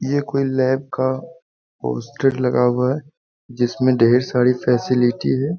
ये कोई लैब का पोस्टर लगा हुआ है जिसमें ढ़ेर सारी फैसिलिटी है।